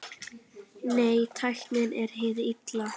Nei, tæknin er hið illa.